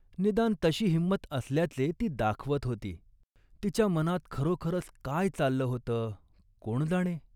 निदान तशी हिंमत असल्याचे ती दाखवत होती. तिच्या मनात खरोखरच काय चाललं होतं कोण जाणे